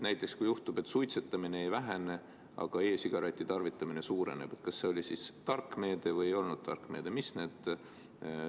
Kui juhtub, et suitsetamine ei vähene, aga e-sigareti tarvitamine suureneb – kas see oli siis tark meede või ei olnud tark meede?